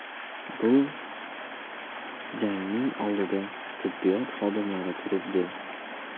Bu jangning oldida tibbiyot xodimlari turibdi.